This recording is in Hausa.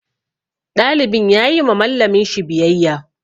Ɗalibin ya yi ma Mallamin shi biyayya.